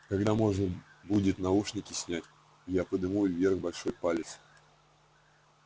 когда можно будет наушники снять я подниму вверх большой палец